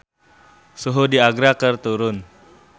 Suhu di Agra keur turun